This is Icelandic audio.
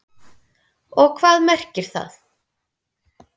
Og hvað merkir það?